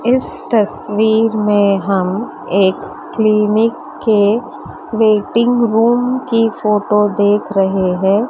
इस तस्वीर में हम एक क्लीनिक के वेटिंग रूम की फोटो देख रहे हैं।